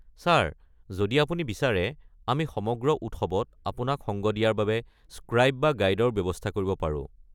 Sir, যদি আপুনি বিচাৰে, আমি সমগ্ৰ উৎসৱত আপোনাক সংগ দিয়াৰ বাবে স্ক্ৰাইব বা গাইডৰ ব্যৱস্থা কৰিব পাৰোঁ।